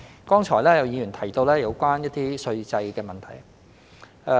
剛才有議員提到有關稅制的問題。